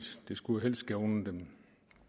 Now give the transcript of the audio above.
det skulle jo helst gavne dem